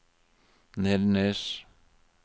Nedenes